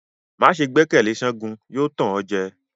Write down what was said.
Ma see gbẹkẹle Segun; yóò tàn o jẹ.